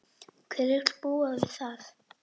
Hver vill búa við það?